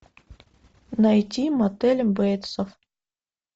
найти мотель бейтсов